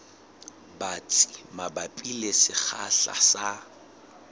batsi mabapi le sekgahla sa